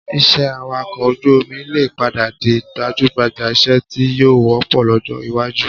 Iṣẹ́ awakọ̀ ojú omi lè padà di gbajúgbà iṣẹ́ tí yóò wọ́pọ̀ lọ́jọ́ iwájú